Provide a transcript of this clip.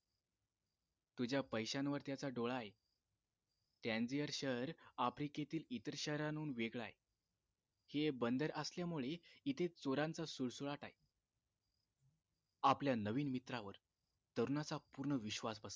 तुझ्या पैशांवर त्याचा डोळा आहे टॅंझीयर शहर आफ्रिकेतील इतर शहरानवेगळं आहे हे बंदर असल्यामुळे इथे चोरांचा सुळसुळाट आहे आपल्या नवीन मित्रावर तरुणाचा विश्वास बसला